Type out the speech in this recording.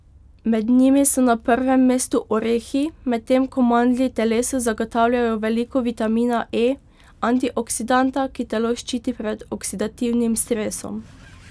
Med njimi so na prvem mestu orehi, medtem ko mandlji telesu zagotavljajo veliko vitamina E, antioksidanta, ki telo ščiti pred oksidativnim stresom.